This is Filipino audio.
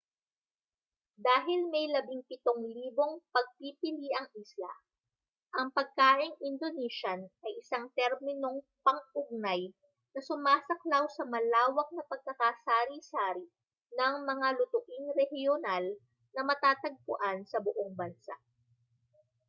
dahil may 17,000 pagpipiliang isla ang pagkaing indonesian ay isang terminong pang-ugnay na sumasaklaw sa malawak na pagkakasari-sari ng mga lutuing rehiyonal na matatagpuan sa buong bansa